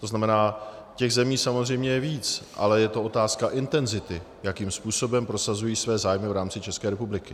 To znamená, těch zemí samozřejmě je víc, ale je to otázka intenzity, jakým způsobem prosazují své zájmy v rámci České republiky.